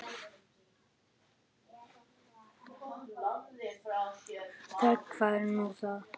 Þöggun, hvað er nú það?